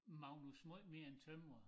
Magnus måj mere end tømrer